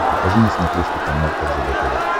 покажи на смотрешке канал ржд тв